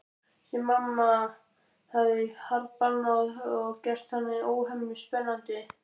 Sem mamma hafði harðbannað og gert þannig óhemju spennandi.